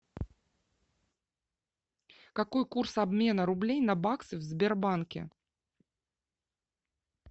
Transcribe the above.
какой курс обмена рублей на баксы в сбербанке